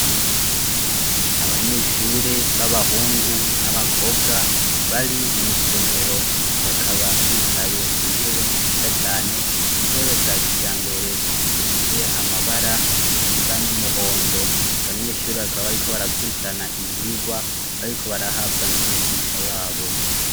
Abanyeshure b'abahungu n'abakobwa bari mw'isomero bakaba bicaye ku ntebe ziza cane intebe za kija mbere zifise amabara asa n'umuhondo abanyeshuri bakaba ari ko barakurikirana ivyigwa bariko barahabwa n'umwigisha wabo.